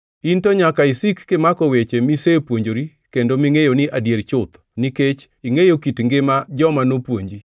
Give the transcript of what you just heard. In to nyaka isik kimako weche misepuonjori kendo mingʼeyo ni adier chuth, nikech ingʼeyo kit ngima joma nopuonji,